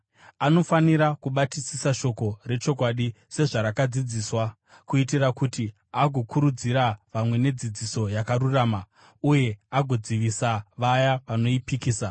Anofanira kubatisisa shoko rechokwadi sezvarakadzidziswa, kuitira kuti agokurudzira vamwe nedzidziso yakarurama uye agodzivisa vaya vanoipikisa.